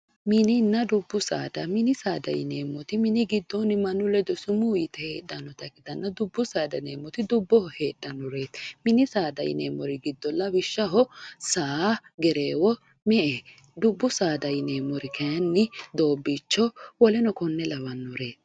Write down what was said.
Mininna dubbu saada yineemmoti giddonni mannu ledo summu yte heedhanotta ikkittanna, dubbu saada yineemmoti dubboho heedhanoreti, mini saada yineemmori giddo lawishshaho saa, gereewo, me"e,dubbu saada yineemmori kayinni doobicho woleno kone labbanoreti.